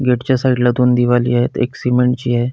Gate साइडला दोन दिवालीयेत एक सिमेंटची ये.